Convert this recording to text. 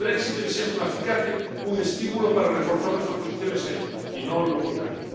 El Brexit debe ser un acicate, un estímulo para reforzar nuestras posiciones ahí, y no lo contrario.